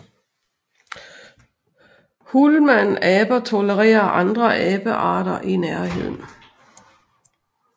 Hulmanaber tolererer andre abearter i nærheden